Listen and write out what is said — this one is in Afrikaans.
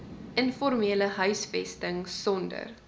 informele huisvesting sonder